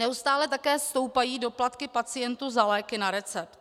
Neustále také stoupají doplatky pacientů za léky na recept.